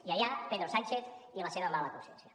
i allà pedro sánchez i la seva mala consciència